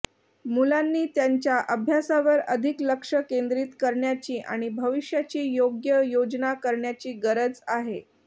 मुलांनी त्यांच्या अभ्यासावर अधिक लक्ष केंद्रीत करण्याची आणि भविष्याची योग्य योजना करण्याची गरज आहे